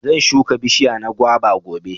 zan shuka bishiya na guava gobe.